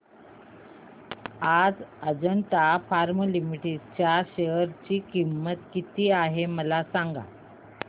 आज Ajanta pharma limited च्या share ची किंमत किती आहे मला सांगा